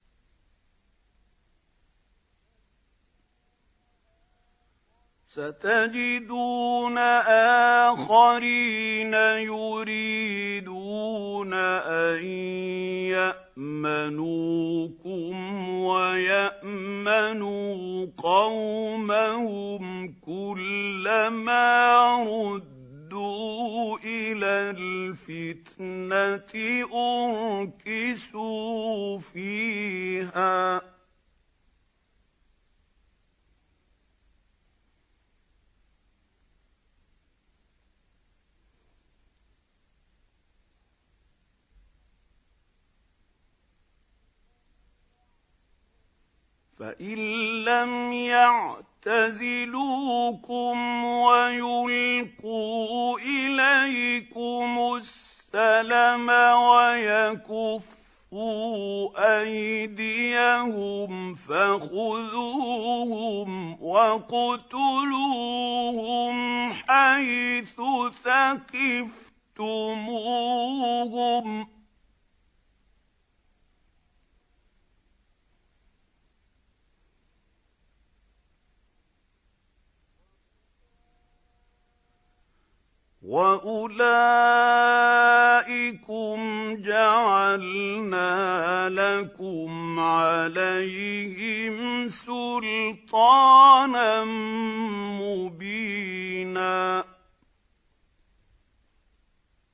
سَتَجِدُونَ آخَرِينَ يُرِيدُونَ أَن يَأْمَنُوكُمْ وَيَأْمَنُوا قَوْمَهُمْ كُلَّ مَا رُدُّوا إِلَى الْفِتْنَةِ أُرْكِسُوا فِيهَا ۚ فَإِن لَّمْ يَعْتَزِلُوكُمْ وَيُلْقُوا إِلَيْكُمُ السَّلَمَ وَيَكُفُّوا أَيْدِيَهُمْ فَخُذُوهُمْ وَاقْتُلُوهُمْ حَيْثُ ثَقِفْتُمُوهُمْ ۚ وَأُولَٰئِكُمْ جَعَلْنَا لَكُمْ عَلَيْهِمْ سُلْطَانًا مُّبِينًا